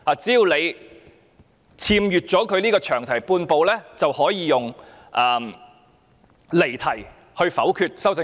只要議員越過了詳題半步，政府便可以用離題的理由來否決修正案。